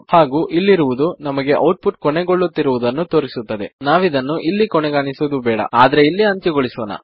ಹಾಗು ಇಲ್ಲಿರುವುದು ನಮಗೆ ಔಟ್ ಪುಟ್ ಕೊನೆಗೊಳ್ಳುತ್ತಿರುವುದನ್ನು ತೋರಿಸುತ್ತದೆ ನಾವಿದನ್ನು ಇಲ್ಲಿ ಕೊನೆಗಾಣಿಸುವುದು ಬೇಡ ಆದರೆ ಇಲ್ಲಿ ಅಂತ್ಯಗೊಲ್ಲಿಸೋಣ